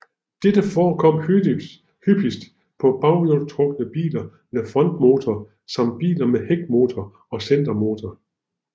Dette forekommer hyppigst på baghjulstrukne biler med frontmotor samt biler med hækmotor og centermotor